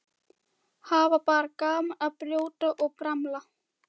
Hafa bara gaman af að brjóta og bramla.